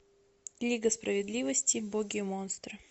лига справедливости боги монстры